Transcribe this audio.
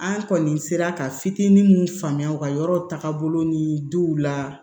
An kɔni sera ka fitinin mun faamuya u ka yɔrɔw taga bolo ni denw la